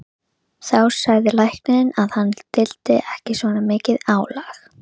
Þá sagði læknirinn að hann þyldi ekki svona mikið álag.